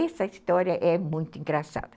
Essa história é muito engraçada.